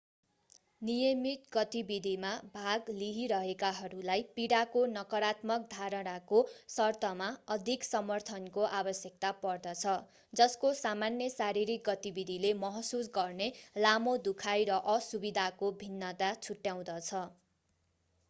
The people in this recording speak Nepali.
नियमित गतिविधिमा भाग लिइरहेकाहरूलाई पीडाको नकारात्मक धारणाको सर्तमा अधिक समर्थनको आवश्यकता पर्दछ जसको सामान्य शारीरिक गतिविधिले महसुस गर्ने लामो दुखाइ र असुविधाको भिन्नता छुट्याउँदछ